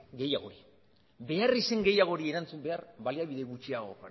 gehiagori beharrizan gehiagori erantzun behar baliabide gutxiagorekin